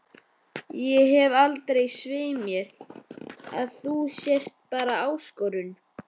Ég held svei mér þá að þú sért bara ÁSKORUN